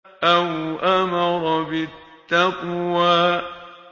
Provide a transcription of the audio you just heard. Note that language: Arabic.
أَوْ أَمَرَ بِالتَّقْوَىٰ